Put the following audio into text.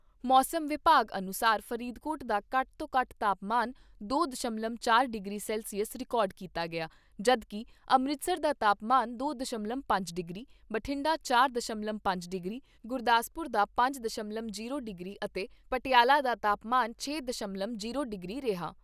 ਮੌਸਮ ਵਿਭਾਗ ਅਨੁਸਾਰ ਫਰੀਦਕੋਟ ਦਾ ਘੱਟ ਤੋਂ ਘੱਟ ਤਾਪਮਾਨ ਦੋ ਦਸ਼ਮਲਵ ਚਾਰ ਡਿਗਰੀ ਸੈਲਸੀਅਸ ਰਿਕਾਰਡ ਕੀਤਾ ਗਿਆ ਜਦ ਕਿ ਅੰਮ੍ਰਿਤਸਰ ਦਾ ਤਾਪਮਾਨ ਦੋ ਦਸ਼ਮਲਵ ਪੰਜ ਡਿਗਰੀ, ਬਠਿੰਡਾ ਚਾਰ ਦਸ਼ਮਲਵ ਪੰਜ ਡਿਗਰੀ, ਗੁਰਦਾਸਪੁਰ ਦਾ ਪੰਜ ਦਸ਼ਮਲਵ ਜੀਰੋ ਡਿਗਰੀ ਅਤੇ ਪਟਿਆਲਾ ਦਾ ਤਾਪਮਾਨ ਛੇ ਦਸ਼ਮਲਵ ਜੀਰੋ ਡਿਗਰੀ ਰਿਹਾ।